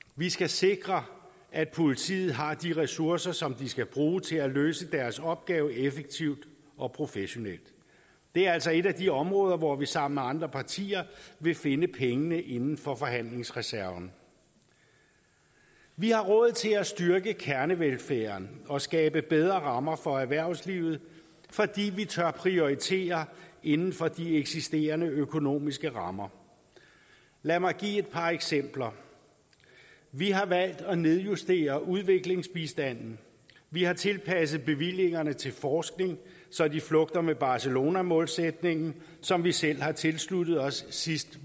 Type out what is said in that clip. vi skal sikre at politiet har de ressourcer som de skal bruge til at løse deres opgave effektivt og professionelt det er altså et af de områder hvor vi sammen med andre partier vil finde pengene inden for forhandlingsreserven vi har råd til at styrke kernevelfærden og skabe bedre rammer for erhvervslivet fordi vi tør prioritere inden for de eksisterende økonomiske rammer lad mig give et par eksempler vi har valgt at nedjustere udviklingsbistanden vi har tilpasset bevillingerne til forskning så de flugter med barcelonamålsætningen som vi selv har tilsluttet os sidst